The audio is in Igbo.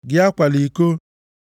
Gị akwala iko.